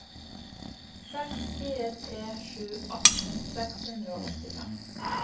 seks fire tre sju atten seks hundre og åttifem